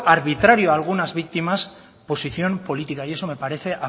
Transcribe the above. arbitrario a algunas víctimas posición política y eso me parece